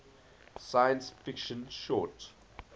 science fiction short